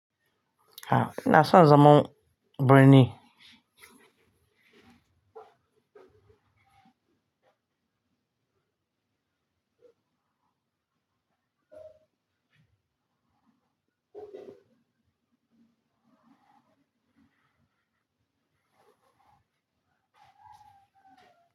A'a ina son zaman birni.